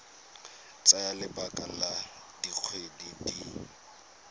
tsaya lebaka la dikgwedi di